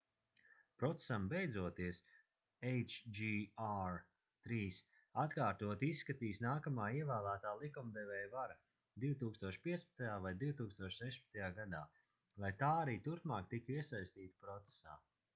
procesam beidzoties hjr-3 atkārtoti izskatīs nākamā ievēlētā likumdevēja vara 2015. vai 2016. gadā lai tā arī turpmāk tiktu iesaistīta procesā